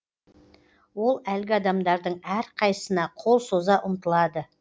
ол әлгі адамдардың әрқайсына қол соза ұмтылады